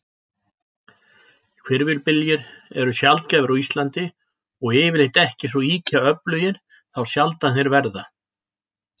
Hvirfilbyljir eru sjaldgæfir á Íslandi, og yfirleitt ekki svo ýkja öflugir þá sjaldan þeir verða.